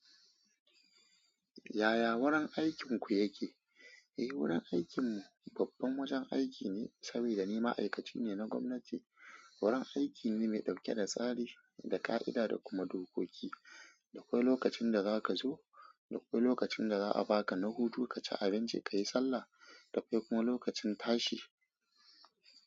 Yaya wurin aikinku yake? Eh, wurin aikinmu babban wajen aiki ne, saboda ni ma'aikaci ne na gwamnati. Wurin aiki ne mai ɗauke da tsari, da ka'ida da kuma dokoki. Akwai lokacin da za ka zo, akwai lokacin da za a ba ka na hutu ka ci abinci ka yi sallah, akwai kuma lokacin tashi.